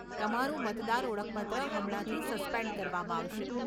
તમારું મતદાર ઓળખપત્ર હમણાંથી સસ્પેન્ડ કરવામાં આવશે.